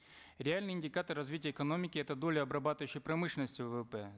реальный индикатор развития экономики это доля обрабатывающей промышленности ввп